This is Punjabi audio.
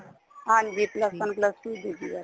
ਹਾਂਜੀ plus one plus two ਸੀਗੀ ਇਹ